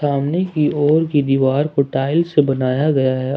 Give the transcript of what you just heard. सामने की और की दीवार को टाइल्स से बनाया गया है और--